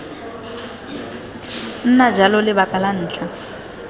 nna jalo lebaka la ntlha